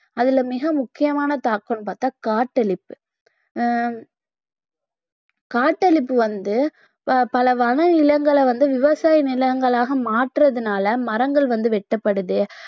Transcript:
அதில மிக முக்கியமான தாக்கம்னு பார்த்தா காட்டழிப்பு ஹம் காட்டழிப்பு வந்து பல வன நிலங்களை வந்து விவசாய நிலங்களாக மாற்றதுனால மரங்கள் வந்து வெட்டப்படுது